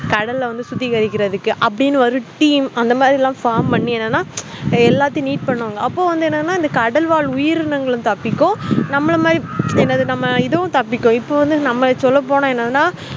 கடல்ல சுத்திகரிக்குரதுக்கு அப்புடின்னு ஒரு team லாம் formலா பண்ணி எல்லாத்தையும் நீட் பண்ணுவாங்க அப்போ வந்து என்னனா கடல் வாழ்உயிரிங்கள் தப்பிக்கும் நம்மள மாதிரி என்ன இதும் தப்பிக்கும் நம்ம சொல்ல போன்னாஎன்னா